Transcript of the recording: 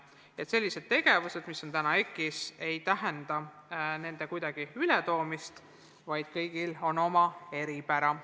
Nii et selliseid tegevusi, mis on praegu EKI-s, ei tooda üle, vaid kõigil on oma eripära.